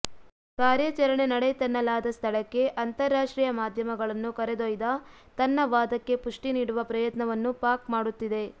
ಕಾರ್ಯಾಚರಣೆ ನಡೆಯಿತೆನ್ನಲಾದ ಸ್ಥಳಕ್ಕೆ ಅಂತಾರಾಷ್ಟ್ರೀಯ ಮಾಧ್ಯಮಗಳನ್ನು ಕರೆದೊಯ್ದು ತನ್ನ ವಾದಕ್ಕೆ ಪುಷ್ಟಿ ನೀಡುವ ಪ್ರಯತ್ನವನ್ನೂ ಪಾಕ್ ಮಾಡುತ್ತಿದೆ